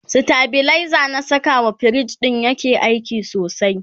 stabilizer na Saka wa fridge ɗin yake aiki sosai